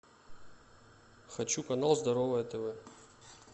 хочу канал здоровое тв